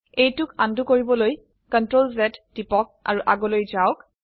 এইটোক আনডো কৰিবলৈ Ctrl Z টিপক আৰু আগলৈ যাওক